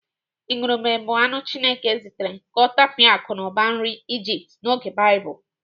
Ìgùrùbè bụ anụ Chineke zitere ka ọ tapịa akụmakụ nri Ijipt n'oge Baịbụl.